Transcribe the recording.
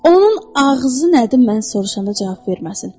Onun ağzı nədir mən soruşanda cavab verməsin?